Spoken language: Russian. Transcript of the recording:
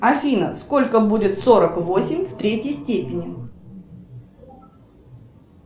афина сколько будет сорок восемь в третьей степени